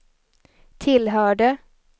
tillhörde